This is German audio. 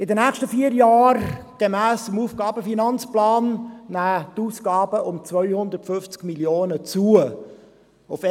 In den nächsten vier Jahren, gemäss AFP, nehmen die Aufgaben um 250 Mio. Franken zu.